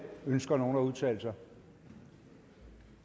ønsker nogen at udtale sig